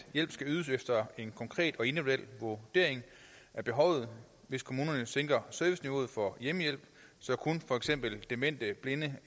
hjælp skal ydes efter en konkret og individuel vurdering af behovet hvis kommuner sænker serviceniveauet for hjemmehjælp så kun for eksempel demente blinde